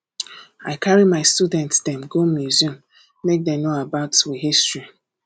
i carry my student dem go museum make dem know about we history